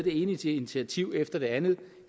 initiativ efter det andet